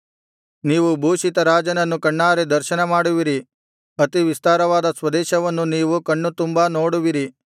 ನೀವು ಭೂಷಿತ ರಾಜನನ್ನು ಕಣ್ಣಾರೆ ದರ್ಶನ ಮಾಡುವಿರಿ ಅತಿವಿಸ್ತಾರವಾದ ಸ್ವದೇಶವನ್ನು ನೀವು ಕಣ್ಣು ತುಂಬಾ ನೋಡುವಿರಿ